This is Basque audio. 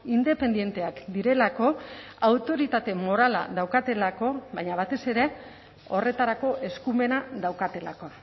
independenteak direlako autoritate morala daukatelako baina batez ere horretarako eskumena daukatelako